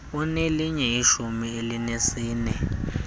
unelinye ishumi elinesine